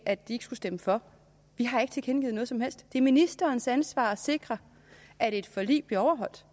at de ikke skulle stemme for vi har ikke tilkendegivet noget som helst det er ministerens ansvar at sikre at et forlig bliver overholdt